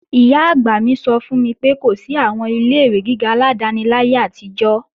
Ìyá-àgbà mi sọ fún mi pé kò sí àwọn ilé-ìwé gíga aládáni láyé àtijọ́